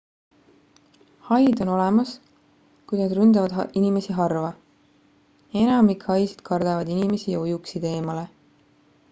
haid on olemas kuid nad ründavad inimesi harva enamik haisid kardavad inimesi ja ujuksid eemale